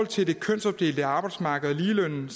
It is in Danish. til det kønsopdelte arbejdsmarked og ligelønnen